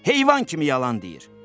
Heyvan kimi yalan deyir.